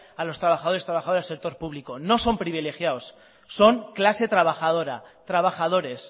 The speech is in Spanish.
a los trabajadores y trabajadoras del sector público no son privilegiados son clase trabajadora trabajadores